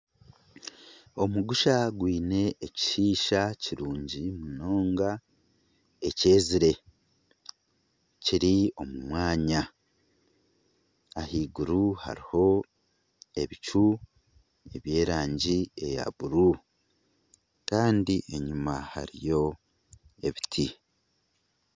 Omugusha gwiine ekishiisha kirungi munonga ekyezire. Kiri omu mwanya. Ahaiguru hariho ebicu eby'erangi eya bururu. Kandi enyima hariyo ebiti.